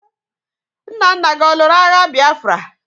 Nna nna gi ọ lụrụ agha Bịafra?